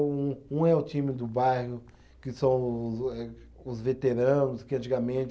Um um é o time do bairro, que são os eh, os veteranos que antigamente.